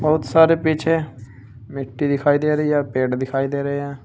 बहुत सारे पीछे मिट्टी दिखाई दे रही है या पेड़ दिखाई दे रहे हैं।